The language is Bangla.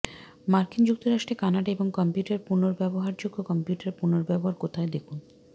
মার্কিন যুক্তরাষ্ট্রে কানাডা এবং কম্পিউটার পুনর্ব্যবহারযোগ্য কম্পিউটার পুনর্ব্যবহার কোথায় দেখুন